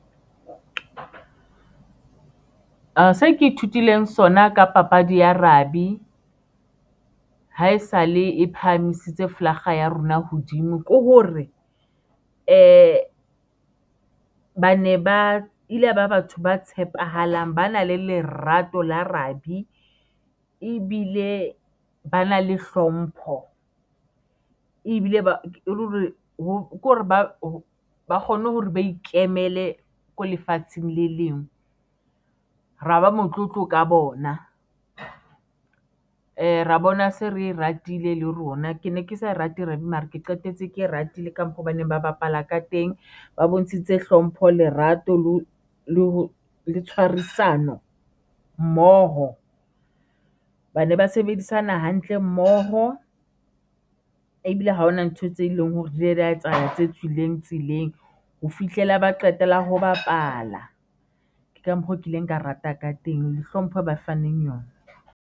Se ke ithutileng sona ka papadi ya rugby haesale e phahamisitse flaga ya rona hodimo ke hore eh bane ba ile ba batho ba tshepahalang, ba na le lerato la rugby ebile ba na le hlompho ebile ba hore ho hore ba kgone hore ba ikemele ko lefatsheng le leng, ra ba motlotlo ka bona, ra bona se re e ratile le rona, ke ne ke sa rate rugby mara ke qetetse ke ratile ka mpha baneng ba bapala ka teng, ba bontshitse hlompho lerato leo le ho tshwarisana mmoho. Bane ba sebedisana hantle mmoho, ebile ha hona ntho tse leng hore di ile di ya etsahala tse tswileng tseleng, ho fihlela ba qetela ho bapala. Ke ka mokgo kileng ka rata ka teng le hlompho ba faneng yona.